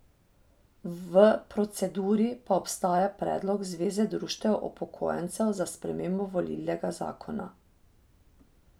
V proceduri pa ostaja predlog zveze društev upokojencev za spremembo volilnega zakona.